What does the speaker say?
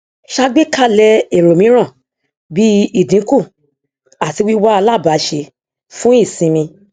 ṣàgbékalẹ èrò mìíràn bí ìdínkù àti wíwá alabàáṣe fún ìṣinmi